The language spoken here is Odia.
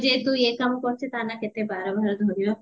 ଯେହେତୁ ଏ କାମ କରୁଚେ କେତେ ବାର ବାର ଧରିବ